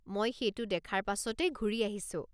মই সেইটো দেখাৰ পাছতেই ঘূৰি আহিছোঁ।